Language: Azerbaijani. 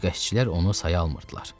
Suyu qəşçilər onu saya almırdılar.